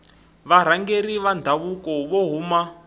varhangeri va ndhavuko vo huma